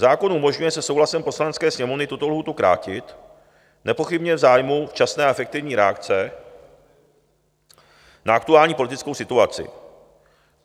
Zákon umožňuje se souhlasem Poslanecké sněmovny tuto lhůtu krátit, nepochybně v zájmu včasné a efektivní reakce na aktuální politickou situaci.